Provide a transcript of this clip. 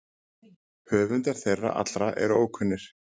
Höfundar þeirra allra eru ókunnir.